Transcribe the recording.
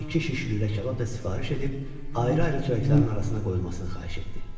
İki şiş lülə kabab da sifariş edib ayrı-ayrı çörəklərin arasına qoyulmasını xahiş etdi.